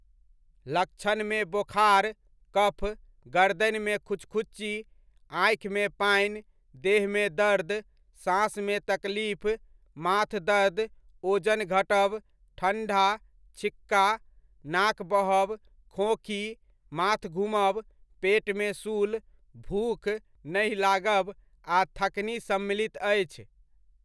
लक्षणमे बोखार, कफ, गरदनिमे खुचखुची, आँखिमे पानि, देहमे दर्द, साँस मे तकलीफ, माथ दर्द, ओजन घटब, ठण्ढा, छिक्का, नाक बहब, खोँखी, माथ घुमब, पेटमे शूल, भूख नहि लागब, आ थकनी सम्मलित अछि।